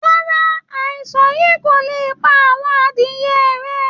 Rárá, àìsàn yìí kò lè pa àwọn adìẹ rẹ